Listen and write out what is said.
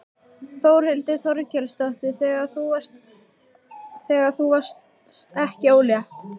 Þórhildur Þorkelsdóttir: Þegar þú varðst ekki ólétt?